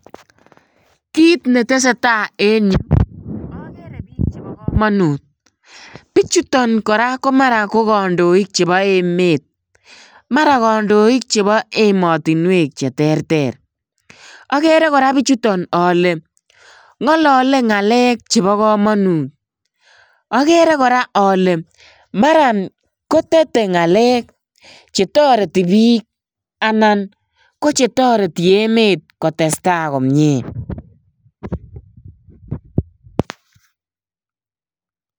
kiit netesetai eng you agere piik chepakamanut. pichuton kora ko kandoik chepaemet. mara kandoik chepoemotinwek cheterter. agere kora pichutak ale ngalale ngalek chepo kamanut. agere kora ale mara kotete ngalek chetareti piik anan ko chetareti emet kotestai komie.